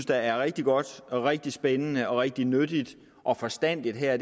der er rigtig godt rigtig spændende rigtig nyttigt og forstandigt her